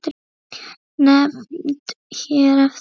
Nefnd hér eftir